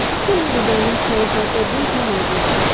Picture में designing chairs और table भी मौजूद है।